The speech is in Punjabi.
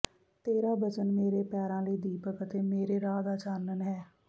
ਤੇਰਾ ਬਚਨ ਮੇਰੇ ਪੈਰਾਂ ਲਈ ਦੀਪਕ ਅਤੇ ਮੇਰੇ ਰਾਹ ਦਾ ਚਾਨਣ ਹੈ